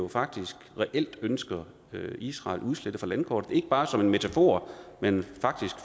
faktisk reelt ønsker israel udslettet fra landkortet ikke bare en metafor men